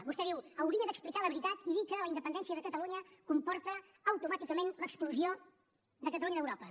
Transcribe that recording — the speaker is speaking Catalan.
vostè diu hauria d’explicar la veritat i dir que la independència de catalunya comporta automàticament l’exclusió de catalunya d’europa